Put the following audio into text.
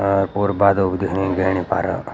और पोरू बादल भी दिखणी ई गहणी पारा।